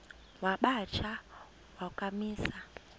wamba tsha wakhamisa